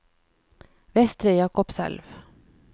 Vestre Jakobselv